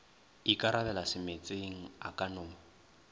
ikarabela semeetseng a ka no